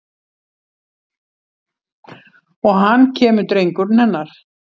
Og hann kemur drengurinn hennar.